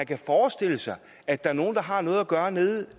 kan forestille sig at der er nogen der har noget at gøre nede